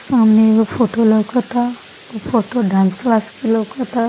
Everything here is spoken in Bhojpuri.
सामने एगो फोटो लोकाता उ फोटो डांस क्लास के लोकाता।